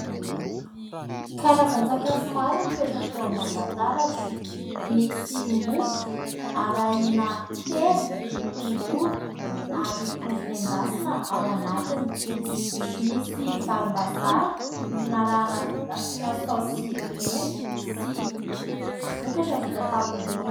Karazan-tsakafo maro mipetraka eo ambony latabatra : misy mofo arahina hena, tongolo ary ovy nendasina ao anatiny, misy varim-bazaha narahina/nasiana saosy mena sy vokatra vita tamin'ny ronono.